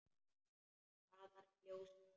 Hraðar en ljósið.